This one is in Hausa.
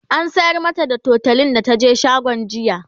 an sayar mata da tutolin da taje shagon jiya